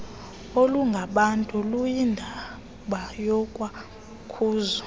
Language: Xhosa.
olungabantu luyindaba yakwamkhozo